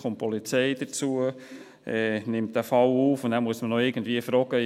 Die Polizei kommt hinzu, nimmt diesen Fall auf, und dann muss man noch irgendwie fragen: